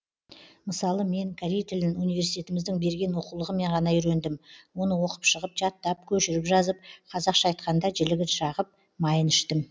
мысалы мен корей тілін университетіміздің берген оқулығымен ғана үйрендім оны оқып шығып жаттап көшіріп жазып қазақша айтқанда жілігін шағып майын іштім